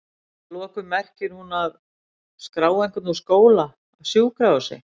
Að lokum merkir hún að?skrá einhvern úr skóla, af sjúkrahúsi?